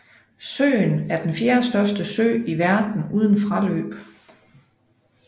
Søen er den fjerdestørste sø i verden uden fraløb